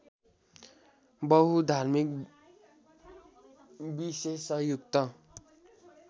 बहुधार्मिक विशेषायुक्त